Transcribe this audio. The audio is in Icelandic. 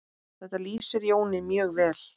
Þetta lýsir Jóni mjög vel.